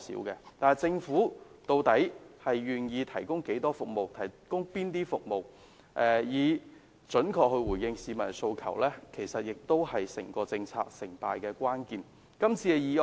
然而，政府究竟願意提供哪種服務，以準確回應市民的訴求，其實亦是整個政策成敗的關鍵。